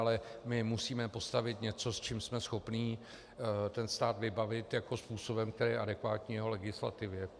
Ale my musíme postavit něco, s čím jsme schopni ten stát vybavit jako způsobem, který je adekvátní jeho legislativě.